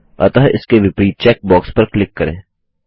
अतः इसके विपरीत चेक बॉक्स पर क्लिक करें